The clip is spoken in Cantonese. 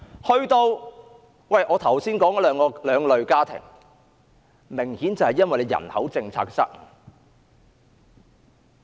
至於我剛才提到的兩類家庭，顯然是因為人口政策失誤。